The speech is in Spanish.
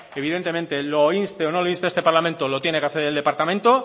evidentemente lo inste o no lo inste este parlamento lo tiene que hacer el departamento